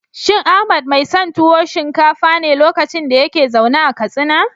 Shin Ahmad mai son tuwo shinkafa ne lokacin da yake zaune a Katsina?